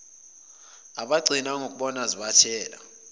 abagcina ngokuzibona zibathela